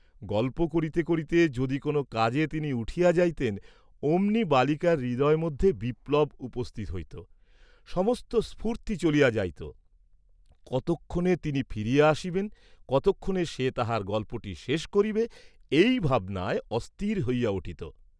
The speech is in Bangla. গল্প করিতে করিতে যদি কোন কাজে তিনি উঠিয়া যাইতেন, অমনি বালিকার হৃদয়মধ্যে বিপ্লব উপস্থিত হইত, সমস্ত স্ফূর্তি চলিয়া যাইত, কতক্ষণে তিনি ফিরিয়া আসিবেন, কতক্ষণে সে তাহার গল্পটি শেষ করিবে এই ভাবনায় অস্থির হইয়া উঠিত।